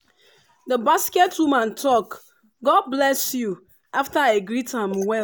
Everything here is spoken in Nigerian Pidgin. the basket woman talk “god bless you” after i greet am well.